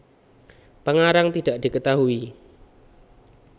Pengarang tidak diketahui